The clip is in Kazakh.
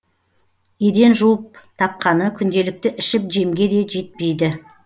еден жуып тапқаны күнделікті ішіп жемге де жетпейді